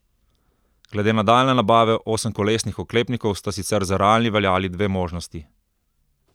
Glede nadaljnje nabave osemkolesnih oklepnikov sta sicer za realni veljali dve možnosti.